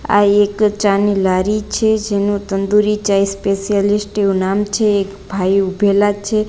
આ એક ચાની લારી છે જેનું તંદૂરી ચાઇ સ્પેશિયાલિસ્ટ એવું નામ છે એક ભાઈ ઉભેલા છે.